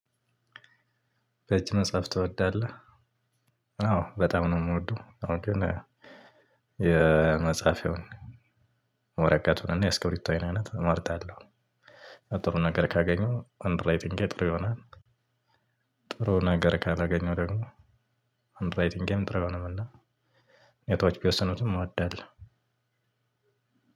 በእጅህ መጻፍ ትወዳለህ? አዎ በጣም ነው የምወደው ሆኖም ግን ይሁን። ወረቀቱን እና የእስከብሪቶዬን አይነት እመርጣለሁ። ጥሩ ነገር ካገኘው የእጅ ጽሁፌም ጥሩ ይሆናል። ጥሩ ነገር ካላገኘው ደግሞ የእጅ ጽሁፌም ጥሩ አይሆንም። እና እውነታዎች ቢወስኑትም አዳለሁ።